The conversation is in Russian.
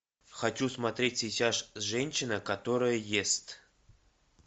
хочу смотреть сейчас женщина которая ест